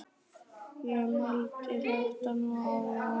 Ég mældi þetta nú áðan.